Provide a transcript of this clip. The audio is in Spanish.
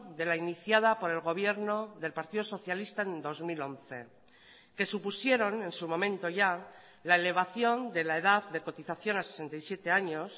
de la iniciada por el gobierno del partido socialista en dos mil once que supusieron en su momento ya la elevación de la edad de cotización a sesenta y siete años